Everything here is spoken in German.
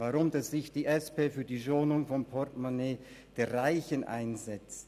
Weshalb setzt sich die SP für die Schonung des Portemonnaies der Reichen ein?